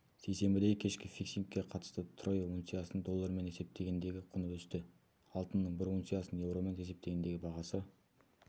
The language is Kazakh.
сейсенбідегі кешкі фиксингке қатысты трой унциясының доллармен есептегендегі құны өсті алтынның бір унциясының еуромен есептегендегі бағасы